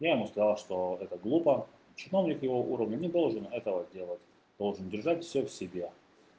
я ему сказал что это глупо чиновник его уровня не должен этого делать должен держать всё в себе